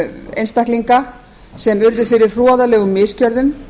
einstaklinga sem urðu fyrir hroðalegum misgjörðum